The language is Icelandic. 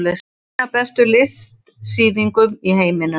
Ein af bestu listsýningum í heiminum